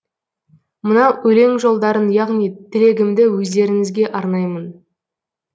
мына өлең жолдарын яғни тілегімді өздеріңізге арнаймын